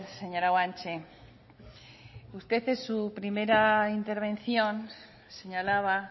señora guanche usted en su primera intervención señalaba